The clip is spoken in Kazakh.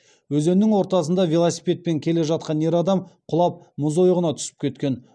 өзеннің ортасында велосипедпен келе жатқан ер адам құлап мұз ойығына түсіп кеткен